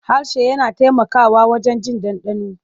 Harshe yana taimakawa wajen jin ɗanɗano.